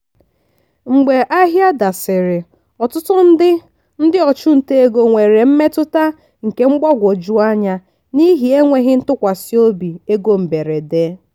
mgbe ahịa dasịrị ọtụtụ ndị ndị ọchụnta ego nwere mmetụta nke mgbagwoju anya n'ihi enweghị ntụkwasị obi ego mberede.